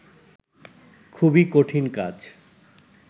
খুবই কঠিন কাজ